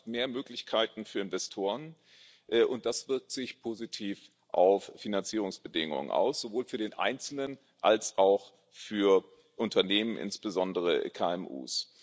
Dies schafft mehr Möglichkeiten für Investoren, was sich wiederum positiv auf Finanzierungsbedingungen auswirkt, sowohl für den Einzelnen als auch für Unternehmen, insbesondere KMU.